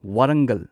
Warangal